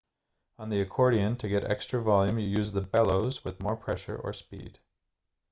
on the accordion to get extra volume you use the bellows with more pressure or speed